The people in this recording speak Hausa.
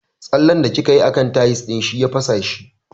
Tsallen da kikayi a kan tayis ɗin shi ya fasa shi